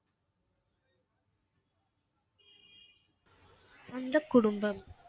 சொந்த குடும்பம்.